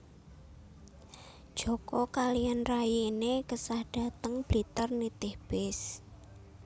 Joko kaliyan rayine kesah dhateng Blitar nitih bis